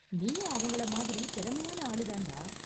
நீயும் அவங்கள மாதிரி திறமையான ஆளு தான்டா.